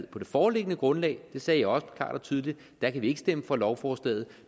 på det foreliggende grundlag det sagde jeg også klart og tydeligt kan vi ikke stemme for lovforslaget